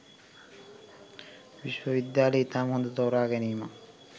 විශ්වවිද්‍යාලය ඉතාම හොඳ තෝරාගැනීමක්